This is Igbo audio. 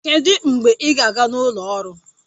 Kedụ mgbe ị ga-aga ụlọ ọrụ?